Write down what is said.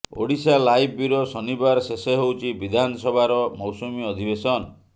Odisha live bureau ଶନିବାର ଶେଷ ହେଉଛି ବିଧାନସଭାର ମୌସୁମୀ ଅଧିବେଶନ